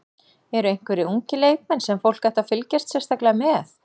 Eru einhverjir ungir leikmenn sem fólk ætti að fylgjast sérstaklega með?